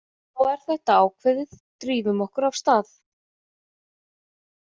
Þá er þetta ákveðið, drífum okkur af stað.